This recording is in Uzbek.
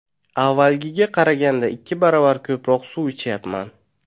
Avvalgiga qaraganda ikki baravar ko‘proq suv ichyapman.